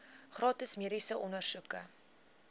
gratis mediese ondersoeke